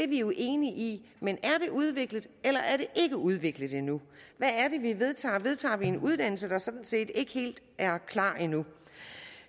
vi jo enige i men er det udviklet eller er det ikke udviklet endnu hvad er det vi vedtager vedtager vi en uddannelse der sådan set ikke helt er klar endnu